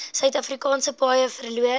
suidafrikaanse paaie verloor